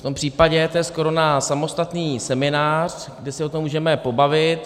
V tom případě to je skoro na samostatný seminář, kde se o tom můžeme pobavit.